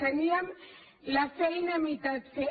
teníem la feina a mig fer